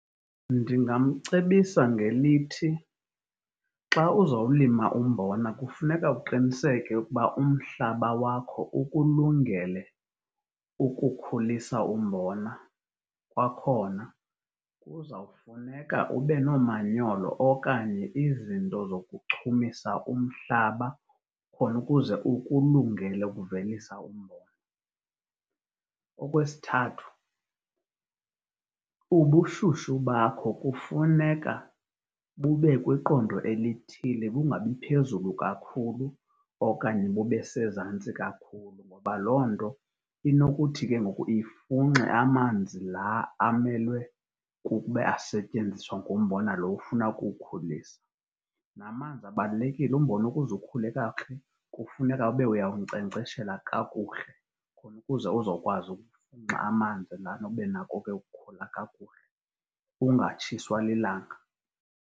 Ndingamcebisa ngelithi, xa uzawulima umbona kufuneka uqiniseke ukuba umhlaba wakho ukulungele ukukhulisa umbona. Kwakhona, kuza kufuneka ube nomanyolo okanye izinto zokuchumisa umhlaba khona ukuze ukulungele ukuvelisa umbona. Okwesithathu, ubushushu bakho kufuneka bube kwiqondo elithile, bungabi phezulu kakhulu okanye bube sezantsi kakhulu, ngoba loo nto inokuthi ke ngoku ifunxe amanzi la amele kube asetyenziswa ngumbona loo ufuna ukuwukhulisa. Namanzi abalulekile. Umbona ukuze ukhule kakuhle kufuneke ube uyawunkcenkceshela kakuhle khona ukuze uzokwazi ukufunxa amanzi abenako ke ukhula kakuhle ungatshiswa lilanga.